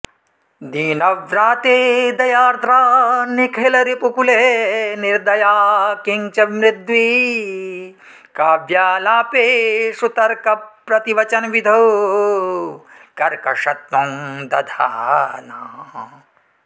दीनव्राते दयार्द्रा निखिलरिपुकुले निर्दया किं च मृद्वी काव्यालापेषु तर्कप्रतिवचनविधौ कर्कशत्वं दधाना